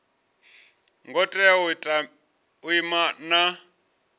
ngo tea u ima na